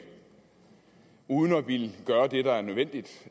uden at ville gøre det der er nødvendigt